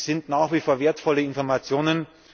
Das sind nach wie vor wertvolle Informationen.